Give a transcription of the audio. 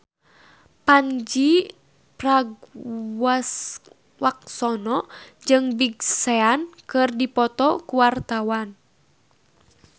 Pandji Pragiwaksono jeung Big Sean keur dipoto ku wartawan